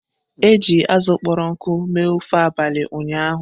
E ji azụ kpọrọ nkụ mee ofe abalị ụnyaahụ.